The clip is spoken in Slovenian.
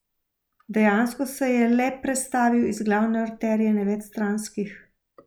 Dejansko se je le prestavil iz glavne arterije na več stranskih.